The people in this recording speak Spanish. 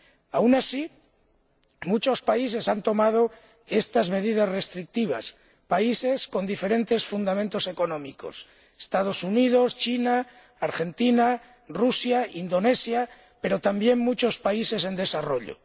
Aun así, muchos países han tomado estas medidas restrictivas países con diferentes fundamentos económicos —los Estados Unidos, China, Argentina, Rusia, Indonesia—, pero también muchos países en desarrollo.